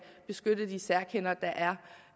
beskytte de særkender der